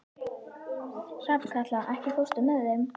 Hrafnkatla, ekki fórstu með þeim?